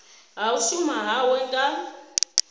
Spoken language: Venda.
ha u shuma hawe nga